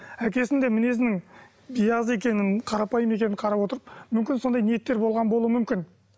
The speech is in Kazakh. әкесін де мінезінің биязы екенін қарапайым екенін қарап отырып мүмкін сондай ниеттер болған болуы мүмкін